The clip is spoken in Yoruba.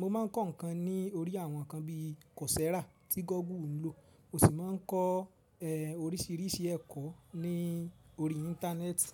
mo máa ń kọ́ nǹkan ní orí àwọn ǹkan bí i Coursera tí Google ń lò, o sì máa ń kọ́ e orísìírísì ẹ̀kọ́ ní orí Íńtánẹ́ẹ̀tì.